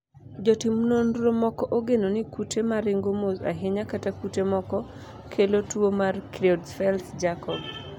jotim nonro moko ogeno ni kute maringo mos ahinya kata kute moko kelo tuo mar Creutzfeldt Jakob